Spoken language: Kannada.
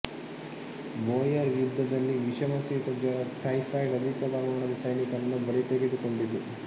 ಬೋಯರ್ ಯುದ್ಧದಲ್ಲಿ ವಿಷಮಶೀತಜ್ವರ ಟೈಫಾಯಿಡ್ ಅಧಿಕ ಪ್ರಮಾಣದ ಸೈನಿಕರನ್ನು ಬಲಿ ತೆಗೆದುಕೊಂಡಿತು